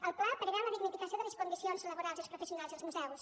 el pla preveu la dignificació de les condicions laborals dels professionals dels museus